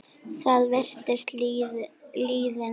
Það virðist liðin tíð.